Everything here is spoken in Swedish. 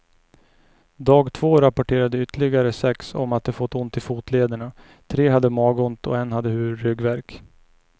Dag två rapporterade ytterliggare sex om att de fått ont i fotlederna, tre hade magont och en hade ryggvärk.